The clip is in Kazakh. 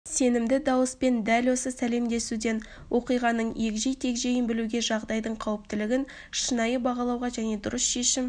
сенімді дауыспен дәл осы сәлемдесуден оқиғаның егжей-тегжейін білуге жағдайдың қауіптілігін шынайы бағалауға және дұрыс шешім